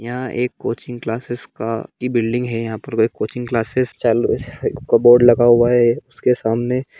यहा एक coaching classes का ये बिल्डिंग है यहा पर कोचिंग क्लासेस चालुका बोर्ड लगा हुआ है उसके सामने--